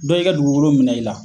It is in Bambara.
Dɔ y'i ka dugukolo minɛ i la